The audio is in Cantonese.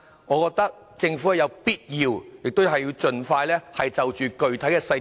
我認為政府有必要盡快公布具體細節。